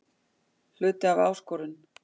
Hluti af áskorun